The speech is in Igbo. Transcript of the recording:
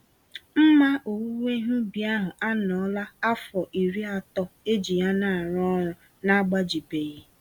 Mma owuwe ihe ubi ahụ anọọla afọ iri atọ eji ya narụ ọrụ na-agbajibeghị.